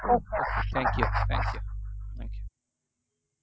thank you